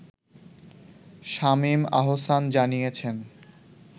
শামীম আহসান জানিয়েছেন